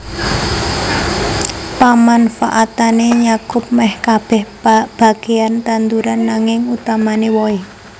Pamanfaatané nyakup mèh kabèh bagéan tanduran nanging utamané wohé